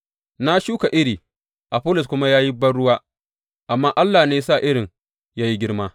Ni na shuka iri, Afollos kuma ya yi banruwa, amma Allah ne ya sa irin ya yi girma.